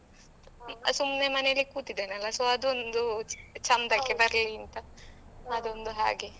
ಸುಮ್ನೆ ಮನೇಲಿ ಕೂತಿದ್ದೇನಲ್ಲ so ಅದು ಒಂದು ಚೆಂದಕ್ಕೆ ಬರ್ಲಿ ಅಂತ ಅದೊಂದು ಹಾಗೆ ಮತ್ತೆ .